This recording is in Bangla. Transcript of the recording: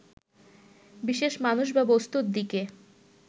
বিশেষ মানুষ বা বস্তুর দিকে